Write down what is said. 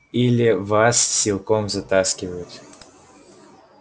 или вас силком затаскивают